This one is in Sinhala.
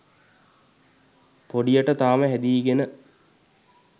පොඩියට තාම හැදීගෙන.